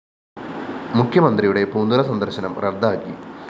മുഖ്യമന്ത്രിയുടെ പൂന്തുറ സന്ദര്‍ശനം റദ്ദാക്കി